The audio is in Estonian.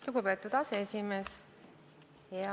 Lugupeetud aseesimees!